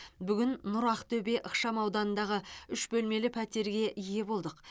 бүгін нұр ақтөбе ықшам ауданындағы үш бөлмелі пәтерге ие болдық